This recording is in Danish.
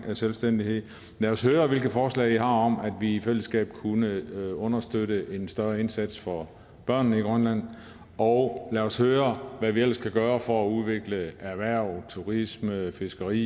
med selvstændighed lad os høre hvilke forslag i har om hvordan vi i fællesskab kunne understøtte en større indsats for børnene i grønland og lad os høre hvad vi ellers kan gøre for at udvikle erhverv turisme fiskeri